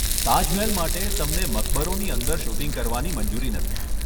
તાજમહેલ માટે, તમને મકબરોની અંદર શૂટિંગ કરવાની મંજૂરી નથી.